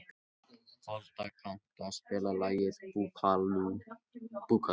Folda, kanntu að spila lagið „Búkalú“?